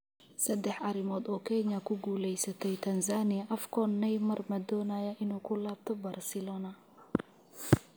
Saddex arrimood oo Kenya ku guuleysatay Tanzania AFCON, Neymar ma doonayaa inuu ku laabto Barcelona?